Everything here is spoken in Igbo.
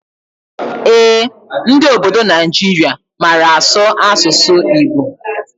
Ee, ndị ọbọdọ Naijiria màrà asụ asụsụ Igbo.